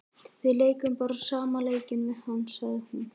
Við leikum bara sama leikinn við hann, sagði hún.